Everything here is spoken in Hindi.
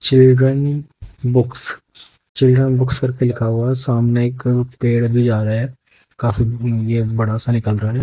चिल्ड्रन बुक्स चिल्ड्रन बुक्स करके लिखा हुआ है सामने एक पेड़ भी जा रहा है काफी बड़ा सा निकल रहा है।